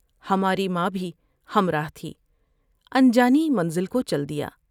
ہماری ماں بھی ہمرا تھی ان جانی منزل کو چل دیا ۔